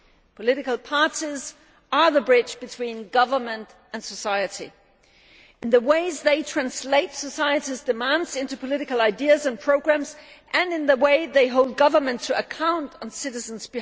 Political parties are the bridge between government and society in the ways they translate society's demands into political ideas and programmes and in the way they hold government to account on behalf of citizens.